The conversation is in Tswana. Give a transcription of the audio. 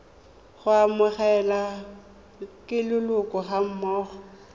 go amogelwa ke leloko gammogo